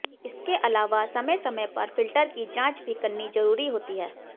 इसके अलावा समय समय पर फिल्टर की जांच भी करनी जरुरी होती है